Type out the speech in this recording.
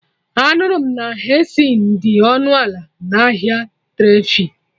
Anụrụ m na Henesi dị ọnụ ala na ahịa Tredfe